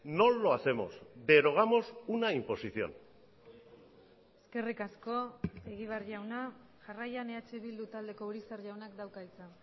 no lo hacemos derogamos una imposición eskerrik asko egibar jauna jarraian eh bildu taldeko urizar jaunak dauka hitza